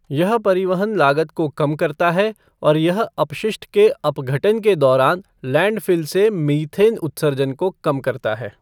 यह परिवहन लागत को कम करता है और यह अपशिष्ट के अपघटन के दौरान लैंडफ़िल से मीथेन उत्सर्जन को कम करता है।